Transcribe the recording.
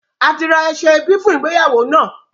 A ti ra aṣọ ẹbí fún ìgbéyàwó náà